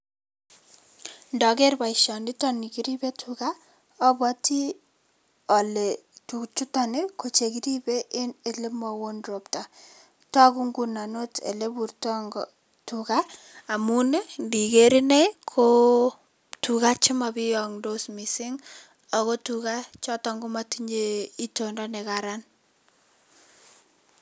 Ndakeer boisionitoni kiripei tuga, abwati ale tuga chuto ko chon kiripei eng olemayoo ropta. Toku ak ole ipurton tuga amun ndikeer ine ko tuga chema pionktos mising ako tuga choto komatinyei itoondo nekaran.